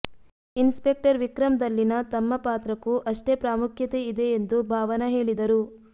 inspector Vikram ದಲ್ಲಿನ ತಮ್ಮ ಪಾತ್ರಕ್ಕೂ ಅಷ್ಟೇ ಪ್ರಾಮುಖ್ಯತೆ ಇದೆ ಎಂದು ಭಾವನ ಹೇಳಿದರು